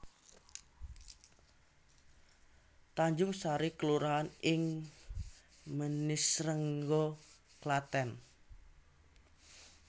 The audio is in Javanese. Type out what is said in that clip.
Tanjungsari kelurahan ing Manisrengga Klathèn